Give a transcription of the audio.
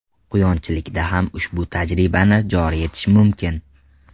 Quyonchilikda ham ushbu tajribani joriy etish mumkin.